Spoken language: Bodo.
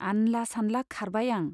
आनला सानला खारबाय आं।